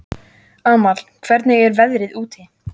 Amal, hvernig er veðrið úti?